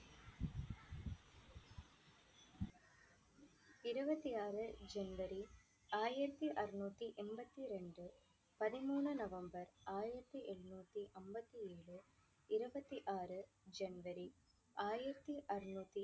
இருபத்தி ஆறு ஜனவரி ஆயிரத்தி அறுநூத்தி எண்பத்தி இரண்டு பதிமூணு நவம்பர் ஆயிரத்தி எண்ணூத்தி அம்பத்தி ஏழு இருபத்தி ஆறு ஜனவரி ஆயிரத்தி அறுநூத்தி